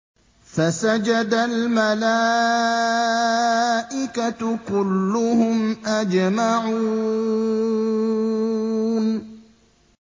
فَسَجَدَ الْمَلَائِكَةُ كُلُّهُمْ أَجْمَعُونَ